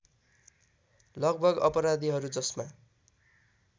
लगभग अपराधीहरू जसमा